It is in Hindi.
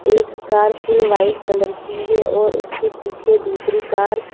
एक कार फुल व्हाईट कलर की है और उसके पीछे दूसरी कार --